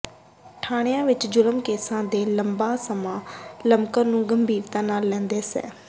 ਥਾਣਿਆਂ ਵਿਚ ਜੁਰਮ ਕੇਸਾਂ ਦੇ ਲੰਬਾ ਸਮਾਂ ਲਮਕਣ ਨੂੰ ਗੰਭੀਰਤਾ ਨਾਲ ਲੈਂਦਿਆਂ ਸ